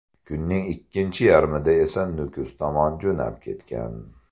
Kunning ikkinchi yarmida esa Nukus tomon jo‘nab ketgan.